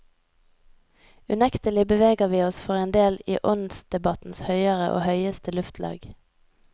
Unektelig beveger vi oss for en del i åndsdebattens høyere og høyeste luftlag.